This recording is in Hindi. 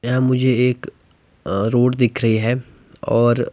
यहां मुझे एक अ रोड दिख रही है और--